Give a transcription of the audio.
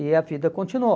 E a vida continuou.